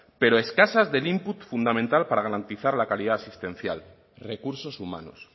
pero escasas del input fundamental para garantizar la calidad asistencial recursos humanos